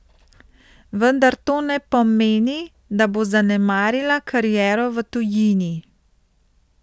Vendar to ne pomeni, da bo zanemarila kariero v tujini.